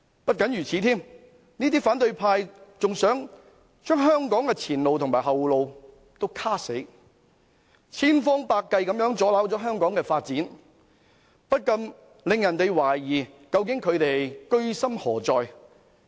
不僅如此，這些反對派還想堵死香港的前路和後路，千方百計阻撓香港發展，不禁令人懷疑他們究竟居心何在。